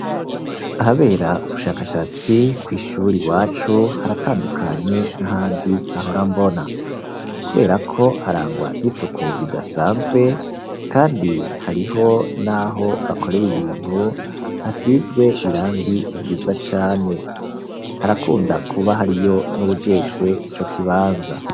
Ahabera ubushakashatsi kw'ishuri wacu haratandukanye n'ahandi nahorambona, kubera ko harangwa n'isuku ridasanzwe, kandi hariho, naho bakorere ibintu hasizwe irangi ryiza cane harakunda kuba hariyo n'ubujemwe ijwe ico kibanza.